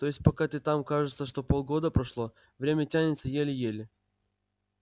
то есть пока ты там кажется что полгода прошло время тянется еле-еле